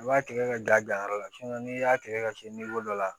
I b'a tigɛ ka da gan yɔrɔ la n'i y'a tigɛ ka se dɔ la